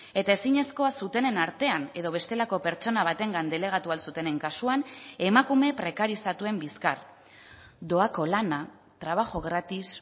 eta ezinezkoa zutenen artean edo bestelako pertsona batengan delegatu ahal zutenen kasuan emakume prekarizatuen bizkar doako lana trabajo gratis